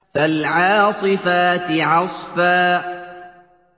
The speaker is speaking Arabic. فَالْعَاصِفَاتِ عَصْفًا